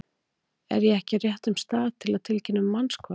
Er ég ekki á réttum stað til að tilkynna um mannshvarf?